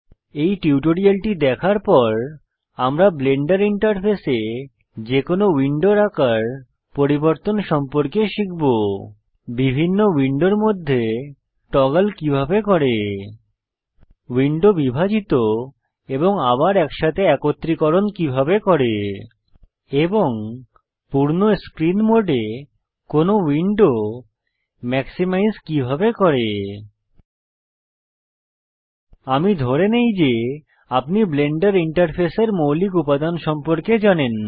এই টিউটোরিয়ালটি দেখার পর আমরা ব্লেন্ডার ইন্টারফেসে যে কোনো উইন্ডোর আকার পরিবর্তন সম্পর্কে শিখব বিভিন্ন উইন্ডোর মধ্যে টগল কিভাবে করে উইন্ডো বিভাজিত এবং আবার একসাথে একত্রীকরণ কিভাবে করে এবং পূর্ণ স্ক্রীন মোডে কোনো উইন্ডো ম্যাক্সিমাইজ কিভাবে করে আমি ধরে নেই যে আপনি ব্লেন্ডার ইন্টারফেসের মৌলিক উপাদান সম্পর্কে জানেন